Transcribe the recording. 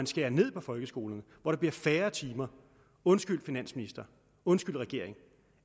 skærer ned på folkeskolen hvor der bliver færre timer undskyld finansminister undskyld regering